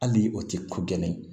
Hali o tɛ ko gɛlɛn